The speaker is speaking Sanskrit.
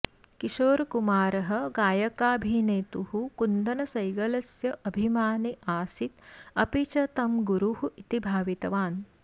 किशोरकुमारः गायकाभिनेतुः कुन्दनसैगलस्य अभिमानी आसीत् अपि च तं गुरुः इति भावितवान्